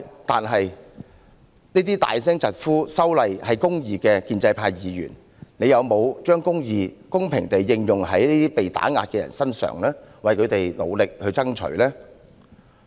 但是，那些高聲疾呼"修例是公義"的建制派議員有否把"公義"公平地應用在這些被打壓的人身上，為他們努力爭取呢？